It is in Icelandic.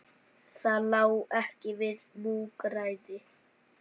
Það lá ekki við múgræði